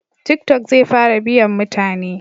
Tiki tok zai fara biyan mutane